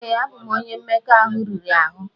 Ee, abụ m onye mmekọahụ riri ahụ.